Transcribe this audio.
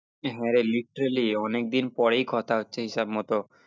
হ্যাঁ রে literally আনেকদিন পরেই কথা হচ্ছে হিসাব মতো